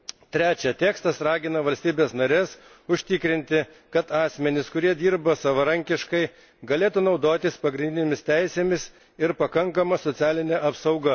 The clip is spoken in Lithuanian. Trečia, tekstas ragina valstybes nares užtikrinti, kad asmenys, kurie dirba savarankiškai, galėtų naudotis pagrindinėmis teisėmis ir pakankama socialine apsauga.